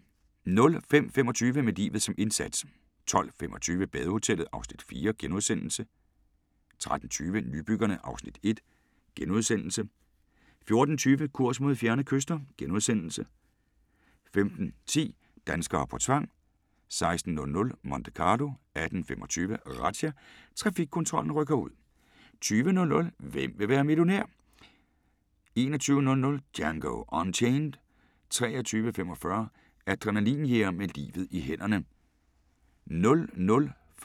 05:25: Med livet som indsats 12:25: Badehotellet (Afs. 4)* 13:20: Nybyggerne (Afs. 1)* 14:20: Kurs mod fjerne kyster * 15:10: Danskere på tvang 16:00: Monte Carlo 18:25: Razzia – Trafikkontrollen rykker ud 20:00: Hvem vil være millionær? 21:00: Django Unchained 23:45: Adrenalin-jæger med livet i hænderne